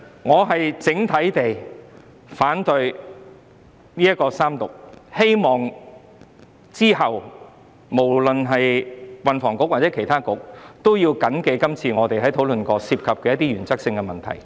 我反對《條例草案》三讀，希望日後運房局及其他政策局都緊記這次我們討論過的一些原則性問題。